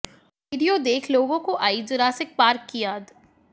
video देख लोगों को आई जुरासिक पार्क की याद